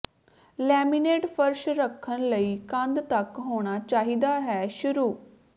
laminate ਫ਼ਰਸ਼ ਰੱਖਣ ਲਈ ਕੰਧ ਤੱਕ ਹੋਣਾ ਚਾਹੀਦਾ ਹੈ ਸ਼ੁਰੂ